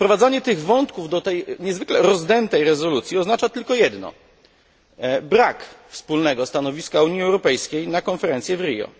Wprowadzanie tych wątków do tej niezwykle rozdętej rezolucji oznacza tylko jedno brak wspólnego stanowiska Unii Europejskiej na konferencję w Rio.